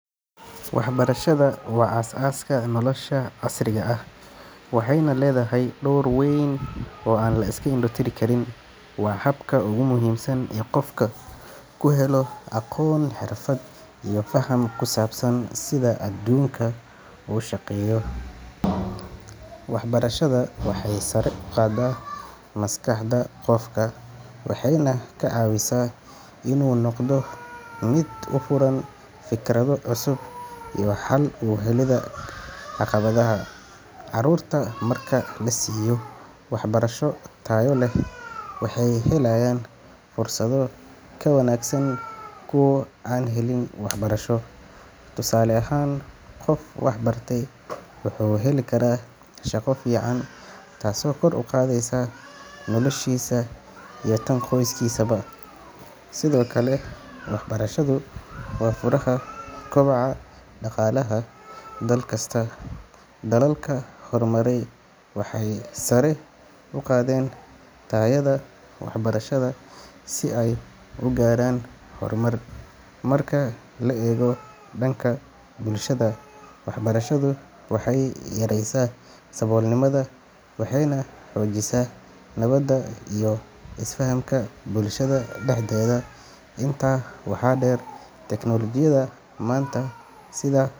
Waxbarashadu waa aasaaska nolosha casriga ah, waxayna leedahay door weyn oo aan la iska indho tiri karin. Waa habka ugu muhiimsan ee qofku ku helo aqoon, xirfad, iyo faham ku saabsan sida adduunku u shaqeeyo. Waxbarashadu waxay sare u qaadaa maskaxda qofka, waxayna ka caawisaa inuu noqdo mid u furan fikrado cusub iyo xal u helidda caqabadaha. Carruurta marka la siiyo waxbarasho tayo leh, waxay helayaan fursado ka wanaagsan kuwa aan helin waxbarasho. Tusaale ahaan, qof wax bartay wuxuu heli karaa shaqo fiican, taasoo kor u qaadaysa noloshiisa iyo tan qoyskiisaba. Sidoo kale, waxbarashadu waa furaha kobaca dhaqaalaha dal kasta. Dalalka hormaray waxay sare u qaadeen tayada waxbarashada si ay u gaaraan horumar. Marka la eego dhanka bulshada, waxbarashadu waxay yareysaa saboolnimada, waxayna xoojisaa nabadda iyo isfahamka bulshada dhexdeeda. Intaa waxaa dheer, teknolojiyadda maanta sida.